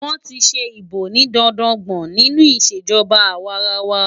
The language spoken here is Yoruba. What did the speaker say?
Wọ́n ti ṣe ìbò ní dandan gbọ̀n nínú ìṣèjọba àwarawa.